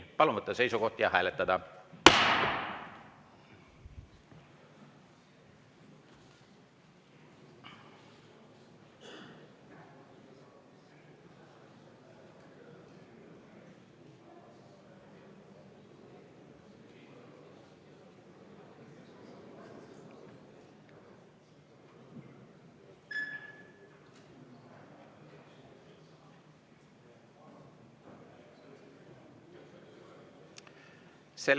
Palun võtta seisukoht ja hääletada!